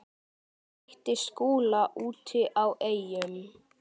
Mætti Skúla úti á Eyjum.